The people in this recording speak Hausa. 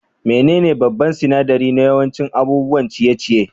Menene babban sinadari na yawancin abubuwan ciye-ciye?